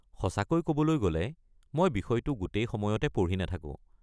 সঁচাকৈ ক'বলৈ গ'লে, মই বিষয়টো গোটেই সময়তে পঢ়ি নাথাকো।